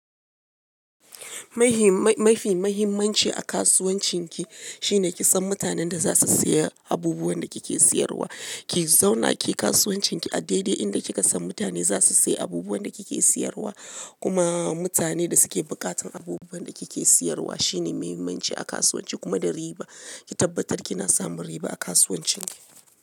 Mafi mahimmanci a kasuwancin ki shine ki san mutanen da za su saya abubuwan da kike siyarwa. Ki zauna ki kasuwancin ki a dai dai inda kika san mutane za su sayi abubuwan da kike siyarwa. Kuma mutanen da suke buƙatan abubuwan da kike siyarwa shine mahimmanci a kasuwanci kuma da riba. Ki tabbatar kina samun riba a kasuwancin ki.